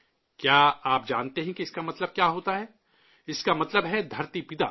کیا آپ جانتے ہیں کہ اس کا مطلب کیا ہوتا ہے؟ اس کا مطلب ہے بابائے زمین